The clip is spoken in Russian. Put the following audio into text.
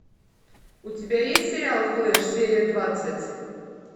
у тебя есть сериал флеш серия двадцать